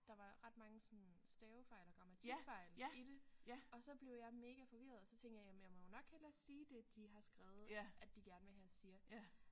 Der var ret mange sådan stavefejl og grammatikfejl i det og så blev jeg mega forvirret og så tænkte jeg jamen jeg må jo nok hellere sige det de har skrevet at de gerne vil have jeg siger